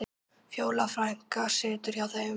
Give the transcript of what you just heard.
Fjóla frænka situr hjá þeim.